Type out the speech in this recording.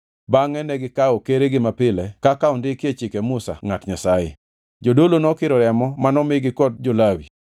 Bangʼe negikawo keregi mapile kaka ondikie chike Musa ngʼat Nyasaye. Jodolo nokiro remo manomigi kod jo-Lawi.